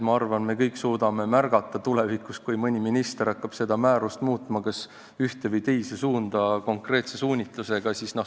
Ma arvan, et me kõik suudame tulevikus märgata, kui mõni minister hakkab seda määrust kas ühes või teises suunas, konkreetse suunitlusega muutma.